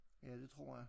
Ja det tror jeg